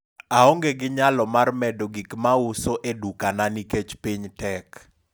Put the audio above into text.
oange gi nyalo mar medo gik mauso e dukana nikech piny tek